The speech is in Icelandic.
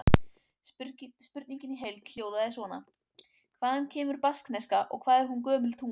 Spurningin í heild hljóðaði svona: Hvaðan kemur baskneska og hvað er hún gömul tunga?